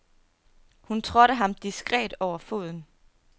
Hun trådte ham diskret over foden.